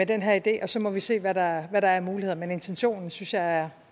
den her idé og så må vi se hvad der er af muligheder men intentionen synes jeg er